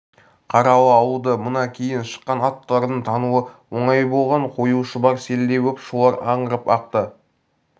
қаралы ауылды мына кейін шыққан аттылардың тануы оңай болған қою шұбар селдей боп шулап аңырап ақты